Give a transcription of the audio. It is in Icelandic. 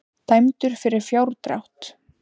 Dæmdur fyrir fjárdrátt